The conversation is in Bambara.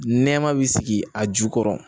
Nɛma bi sigi a ju kɔrɔ